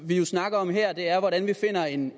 vi jo snakker om her er hvordan vi finder en